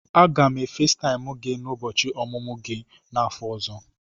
Aga m e Fesitaimu gị n'ụbọchị ọmụmụ gị n'afọ ọzọ.